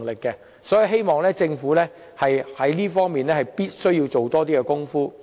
所以，我希望政府能在這方面多做工夫。